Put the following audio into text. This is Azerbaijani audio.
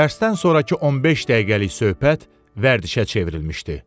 Dərsdən sonrakı 15 dəqiqəlik söhbət vərdişə çevrilmişdi.